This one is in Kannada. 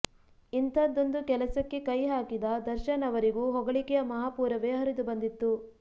ಇಂಥದ್ದೊಂದು ಕೆಲಸಕ್ಕೆ ಕೈ ಹಾಕಿದ ದರ್ಶನ್ ಅವರಿಗೂ ಹೊಗಳಿಕೆಯ ಮಹಾಪೂರವೇ ಹರಿದುಬಂದಿತ್ತು